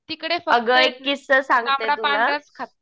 तिकडे फक्त तांबडा पांढरा च खातो.